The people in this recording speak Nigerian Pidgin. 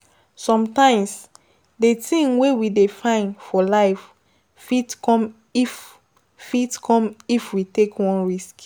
Sometimes di thing wey we dey find for life fit come if fit come if we take one risk